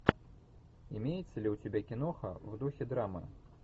имеется ли у тебя киноха в духе драмы